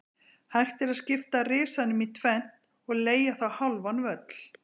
Hægt er að skipta Risanum í tvennt og leigja þá hálfan völl.